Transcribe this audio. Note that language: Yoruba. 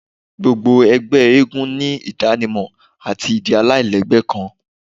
Gbogbo ẹgbẹ eégún ni idanimọ ati idi alailẹgbẹ kan